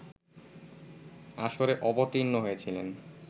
আসরে অবতীর্ণ হয়েছিলেন